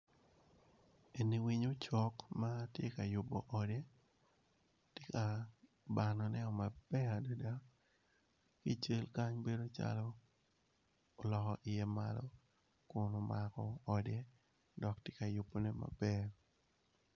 Eni winyo ocok matye ka yubo ode tye ka bano ne o maber adada ical kany bedo calo oloko iye malo kun omako ode dok tye ka yubo ne maber.